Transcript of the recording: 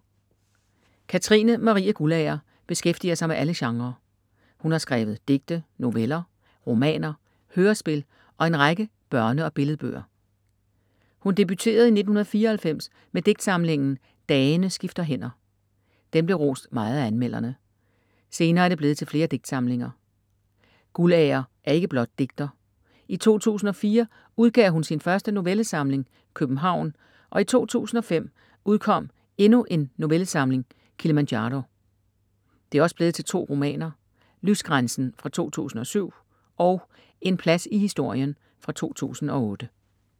Katrine Marie Guldager beskæftiger sig med alle genrer. Hun har skrevet digte, noveller, romaner, hørespil og en række børne- og billedbøger. Hun debuterede i 1994 med digtsamlingen Dagene skifter hænder. Den blev rost meget af anmelderne. Senere er det blevet til flere digtsamlinger. Guldager er ikke blot digter. I 2004 udgav hun sin første novellesamling, København, og i 2005 udkom endnu en novellesamling, Kilimanjaro. Det er også blevet til 2 romaner. Lysgrænsen fra 2007 og En plads i historien, 2008.